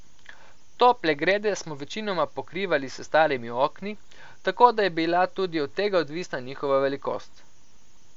Tople grede smo večinoma pokrivali s starimi okni, tako da je bila tudi od tega odvisna njihova velikost.